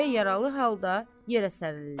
Deyə yaralı halda yerə sərilirlər.